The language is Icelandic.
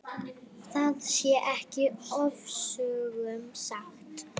Það sé ekki ofsögum sagt.